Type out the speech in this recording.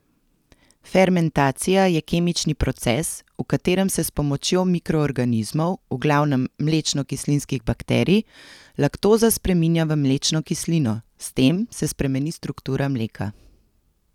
Fermentacija je kemični proces, v katerem se s pomočjo mikroorganizmov, v glavnem mlečnokislinskih bakterij, laktoza spreminja v mlečno kislino, s tem se spremeni struktura mleka.